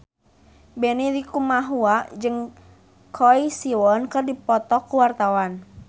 Benny Likumahua jeung Choi Siwon keur dipoto ku wartawan